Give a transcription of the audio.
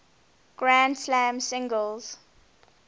grand slam singles